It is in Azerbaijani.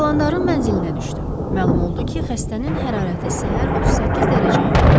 Dalandarın mənzilinə düşdü, məlum oldu ki, xəstənin hərarəti səhər 32 dərəcəyə enib.